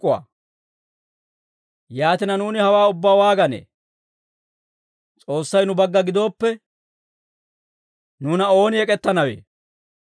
Yaatina, nuuni hawaa ubbaa waaganee? S'oossay nu bagga gidooppe, nuuna ooni ek'ettanawe?